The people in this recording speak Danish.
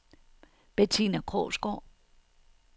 Bettina Krogsgaard